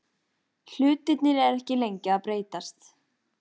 Hlutirnir eru ekki lengi að breytast.